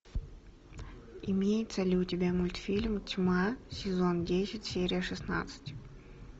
имеется ли у тебя мультфильм тьма сезон десять серия шестнадцать